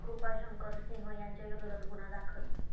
कृपाशंकर सिंह यांच्या विरोधात गुन्हा दाखल